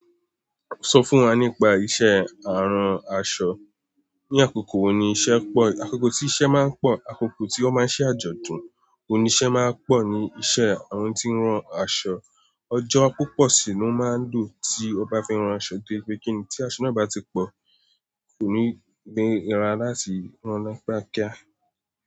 Sọ fún wa nípa iṣẹ́ àrún aṣọ. Ni àkókò wo ni iṣẹ́ pọ̀, àkókò tí iṣẹ́ máa ń pọ̀, àkókò tí wón máa ń ṣe àjọ̀dún, oun ni iṣẹ́ máa ń pọ̀ ni iṣẹ́ àwon tí ń ran aṣọ. Ọjọ́ púpọ̀ sì ló máa ń dùn tí o bá fẹ́ rán aṣọ torí pé kíni, tí aṣọ náà bá ti pọ̀, kò ní nìrà láti rán ní kiákíá.